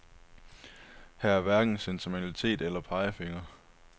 Her er hverken sentimentalitet eller pegefingre.